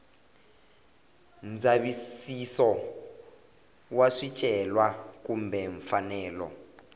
ndzavisiso wa swicelwa kumbe mfanelo